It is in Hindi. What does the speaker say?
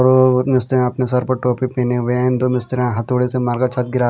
और उसने अपने सर पर टोपी पहने हुए हैं दो मिस्त्री हथौड़े से मारकर छत गिरा--